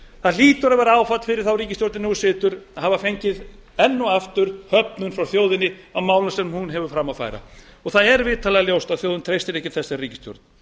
það hlýtur að vera áfall fyrir þá ríkisstjórn sem nú situr að hafa fengið enn og aftur höfnun frá þjóðinni á málum sem hún hefur fram að færa það er vitanlega ljóst að þjóðin treystir ekki þessari ríkisstjórn